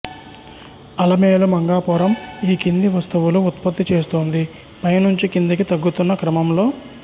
అలమేలు మంగాపురం ఈ కింది వస్తువులు ఉత్పత్తి చేస్తోంది పై నుంచి కిందికి తగ్గుతున్న క్రమంలో